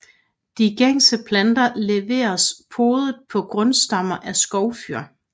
De gængse planter leveres podet på grundstammer af skovfyr